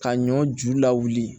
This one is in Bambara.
Ka ɲɔ ju lawuli